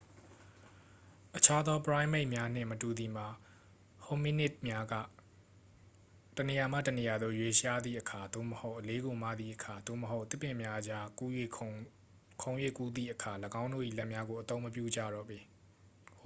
အခြားသော ပရိုင်းမိတ်များနှင့်မတူသည်မှာ hominid များက တစ်နေရာမှ တစ်နေရာသို့ ရွေ့လျားသည့်အခါ သို့မဟုတ် အလေးကို မသည့်အခါ သို့မဟုတ် သစ်ပင်များအကြား ခုန်၍ကူးသည့်အခါ ၎င်းတို့၏ လက်များကို အသုံးမပြုကြတော့ပေ